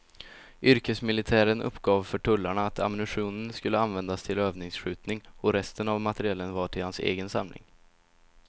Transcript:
Yrkesmilitären uppgav för tullarna att ammunitionen skulle användas till övningsskjutning och resten av materielen var till hans egen samling.